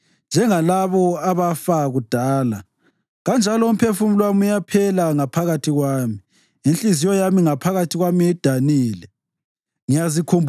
Kanjalo umphefumulo wami uyaphela ngaphakathi kwami; inhliziyo yami ngaphakathi kwami idanile.